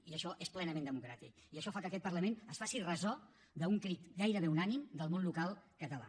i això és plenament democràtic i això fa que aquest parlament es faci ressò d’un crit gairebé unànime del món local català